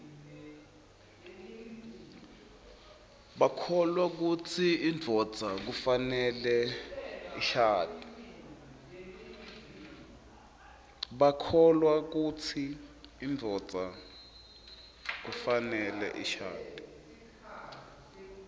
bakholwakutsi induodza kufaneleishadze